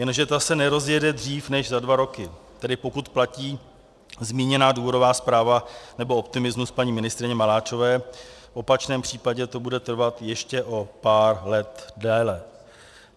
Jenže ta se nerozjede dříve než za dva roky, tedy pokud platí zmíněná důvodová zpráva nebo optimismus paní ministryně Maláčové, v opačném případě to bude trvat ještě o pár let déle.